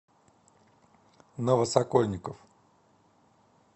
новосокольников